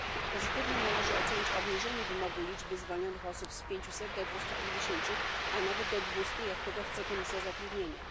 Pozytywnie należy ocenić obniżenie wymogu liczby zwolnionych osób z 500 do 250, a nawet do 200, jak tego chce Komisja Zatrudnienia.